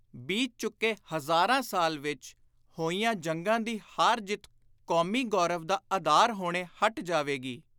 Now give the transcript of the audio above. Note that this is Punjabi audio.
ਬੀਤ ਚੁੱਕੇ ਹਜ਼ਾਰਾਂ ਸਾਲਾਂ ਵਿਚ ਹੋਈਆਂ ਜੰਗਾਂ ਦੀ ਹਾਰ-ਜਿੱਤ ਕੌਮੀ ਗੌਰਵ ਦਾ ਆਧਾਰ ਹੋਣੋਂ ਹਟ ਜਾਵੇਗੀ।